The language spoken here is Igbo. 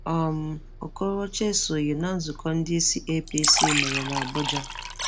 um Ọkorocha esoghị na nzụkọ ndị isi APC mere n'Abụja.